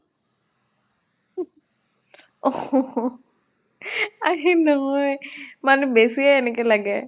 আৰে নহয়, মানে বেছিয়ে এনেকে লাগে।